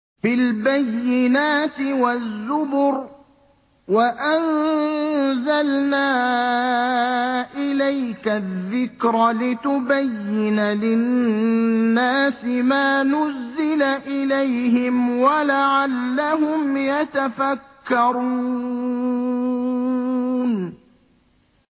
بِالْبَيِّنَاتِ وَالزُّبُرِ ۗ وَأَنزَلْنَا إِلَيْكَ الذِّكْرَ لِتُبَيِّنَ لِلنَّاسِ مَا نُزِّلَ إِلَيْهِمْ وَلَعَلَّهُمْ يَتَفَكَّرُونَ